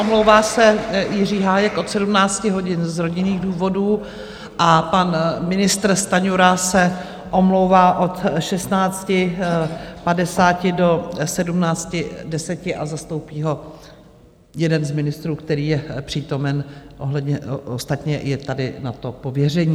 Omlouvá se Jiří Hájek od 17 hodin z rodinných důvodů a pan ministr Stanjura se omlouvá od 16.50 do 17.10 a zastoupí ho jeden z ministrů, který je přítomen, ostatně je tady na to pověření.